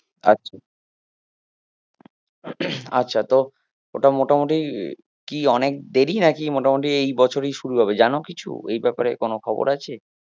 আচ্ছা আচ্ছা তো ওটা মোটামুটি কি অনেক দেরি নাকি মোটামুটি এই বছরেই শুরু হবে, জানো কিছু, এই ব্যাপারে কিছু খবর আছে?